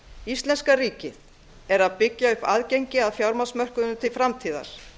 íslenska ríkið er að byggja upp aðgengi að fjármagnsmörkuðum til framtíðar